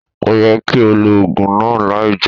Ko ye ki o lo ogun naa lai jeun.